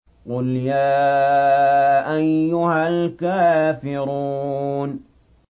قُلْ يَا أَيُّهَا الْكَافِرُونَ